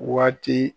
Waati